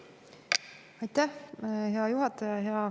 Aitäh, hea juhataja!